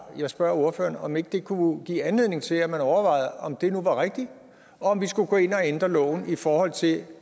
jeg spørger ordføreren om ikke det kunne give anledning til at man overvejede om det nu var rigtigt og om vi skulle gå ind og ændre loven i forhold til